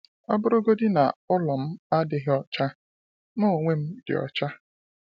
“O bụrụgodi na, ụlọ m adịghị ọcha, m onwe m dị ọcha.”